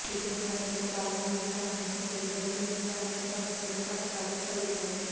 చీపురును పట్టుకునే భాగం భూమికి ఆనించి నిలబేడితే ఇంట్లో అనేక సమస్యలు కష్టాలు కలుగుతాయి